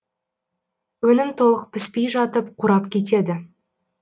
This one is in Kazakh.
өнім толық піспей жатып қурап кетеді